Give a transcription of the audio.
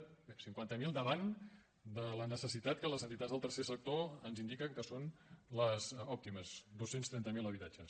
bé cinquanta mil davant de la necessitat que les entitats del tercer sector ens indiquen que són les òptimes dos cents i trenta miler habitatges